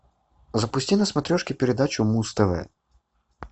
запусти на смотрешке передачу муз тв